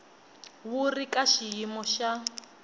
wu ri ka xiyimo xa